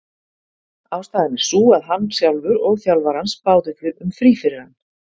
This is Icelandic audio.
Ástæðan er sú að hann sjálfur og þjálfari hans báðu um frí fyrir hann.